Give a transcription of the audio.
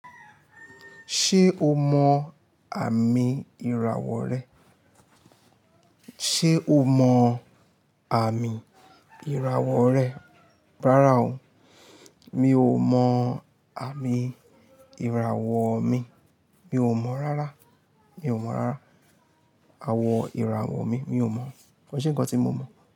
Ṣé o mọ àmì ìràwọ̀ rẹ? Ṣé o mọ àmì ìràwọ̀ rẹ? Rárá o, mi ò mọ àmì ìràwọ̀ mi. Mi ò mọ̀ rárá. Mi ò mọ̀ rárá. Àwọ̀ ìràwọ̀ mi, mi ò mọ̀. Ko ṣe nǹkan tí mo mọ̀